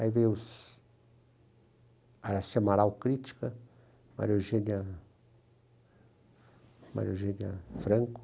Aí veio a crítica, Maria Eugênia Maria Eugênia Franco.